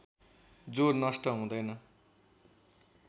जो नष्ट हुँदैन